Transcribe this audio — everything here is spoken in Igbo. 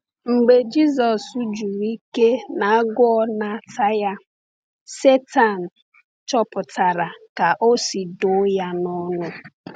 Mgbe Jisọs juru ike na agụụ na-ata ya, Sátan chọpụtara ka o si dọ ya n’ọnụ.